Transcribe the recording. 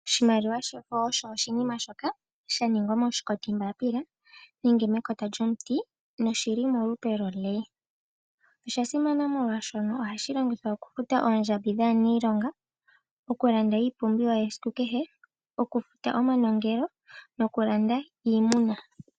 Oshimaliwa shefo osho oshinima shoka shaningwa moshikoti mbaapila nenge mekota lyomuti noshili molupe lwo lee. Osha simana molwashono ohashi longithwa oku futa oondjambi dhaaniilonga, oku landa iipumbiwa yesiku kehe, oku futa omanongelo no kulanda iimuna.